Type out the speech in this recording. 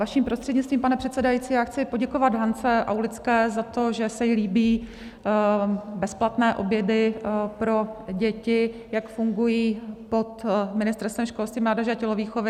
Vaším prostřednictvím, pane předsedající, já chci poděkovat Hance Aulické za to, že se jí líbí bezplatné obědy pro děti, jak fungují pod Ministerstvem školství, mládeže a tělovýchovy.